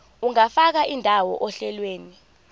ungafaka indawo ohlelweni